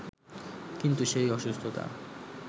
কিন্তু সেই অসুস্থতা